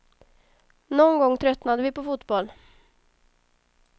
Någon gång tröttnade vi på fotboll.